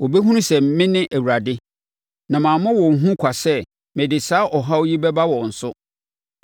Wɔbɛhunu sɛ me ne Awurade, na mammɔ wɔn hu kwa sɛ mede saa ɔhaw yi bɛba wɔn so.